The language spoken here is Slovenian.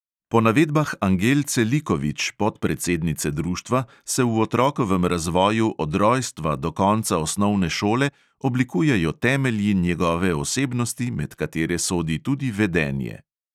Po navedbah angelce likovič, podpredsednice društva, se v otrokovem razvoju od rojstva do konca osnovne šole oblikujejo temelji njegove osebnosti, med katere sodi tudi vedenje.